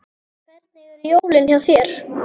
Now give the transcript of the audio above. Hvernig eru jólin hjá þér?